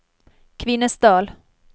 Kvinesdal